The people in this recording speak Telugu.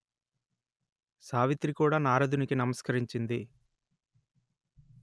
సావిత్రి కూడా నారదునికి నమస్కరించింది